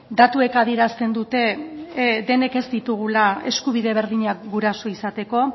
datuek adierazten dute denek ez ditugula eskubide berdinak guraso izateko